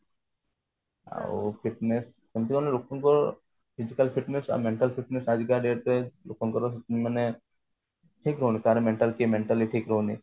ଆଉ fitness ସେମତି ମାନେ ଲୋକଙ୍କୁ physical fitness ଆଉ mental fitness ଆଜିକା date ରେ ଲୋକଙ୍କର ମାନେ ଠିକ ରହୁନି କାହାର mental କିଏ mentally ଠିକ ରହୁନି